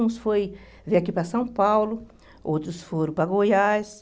Uns foi vir aqui para São Paulo, outros foram para Goiás.